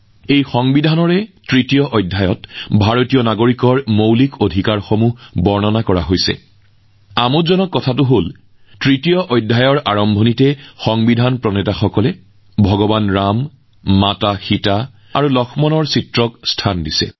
এই সংবিধানৰ মূল প্ৰতিলিপিৰ তৃতীয় অধ্যায়ত ভাৰতৰ নাগৰিকৰ মৌলিক অধিকাৰৰ বিষয়ে বৰ্ণনা কৰা হৈছে আৰু আমোদজনক কথা এই যে তৃতীয় অধ্যায়ৰ আৰম্ভণিতে আমাৰ সংবিধানৰ নিৰ্মাতাসকলে ভগৱান ৰাম মাতৃ সীতা আৰু লক্ষ্মণ জীৰ ফটোৰ স্থান দিছে